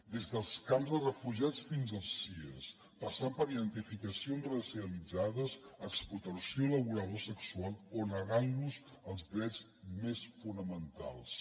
des dels camps de refugiats fins als cies passant per identificacions racialitzades explotació laboral o sexual o negant los els drets més fonamentals